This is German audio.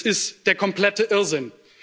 Es ist der komplette Irrsinn.